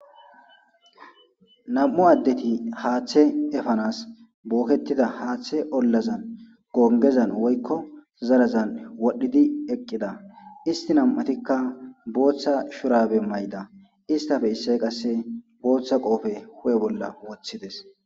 Nam'u addeti haaththe efanas booketida haaththe ollazan gongezan woykko zarazan wodhdhidi eqqida isti nam'atikka booththa shurabe may.da istafe isse qasse booththa qoofe hu'e bolla woththides.